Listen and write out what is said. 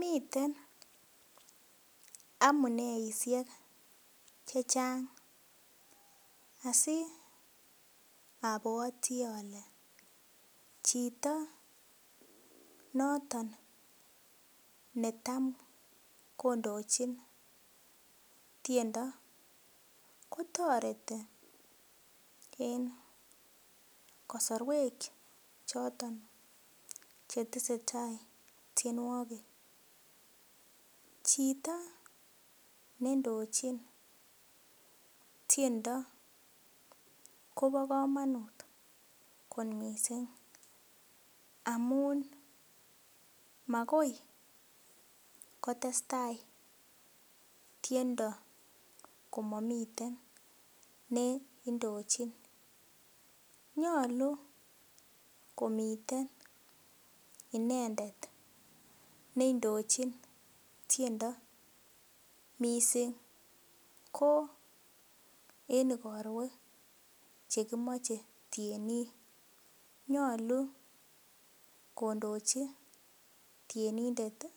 Miten amuneisiek chechang asiobwoti ole chito noton netam kondochin tiendo kotoreti en kosorwek choton chetesetaa tienwogik chito nendochin tiendo kobo komonut kot missing amun makoi kotesetai tiendo komomiten neindochin nyolu komiten inendet neindochin tiendo missing ko en igorwek chekimoche tienik nyolu kondochi tienindet ih